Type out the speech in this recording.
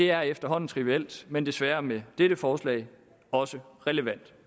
er efterhånden trivielt men desværre med dette forslag også relevant